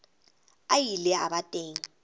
a ile a ba teng